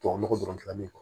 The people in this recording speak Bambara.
Tubabu nɔgɔ dɔrɔn